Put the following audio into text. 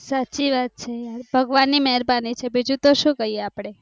સાચી વાત છે ભગવાન ની મેરબાની છે બીજું તો સુ કહીએ અપડે